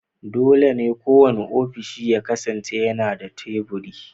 Dole ne kowane ofishi ya kasance yana da teburi